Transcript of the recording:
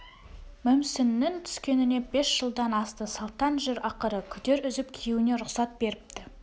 мүмсіннің түскеніне бес жылдан асты салтаң жүр ақыры күдер үзіп күйеуіне рұхсат беріпті